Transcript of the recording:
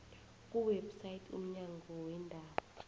kuwebsite yomnyango weendaba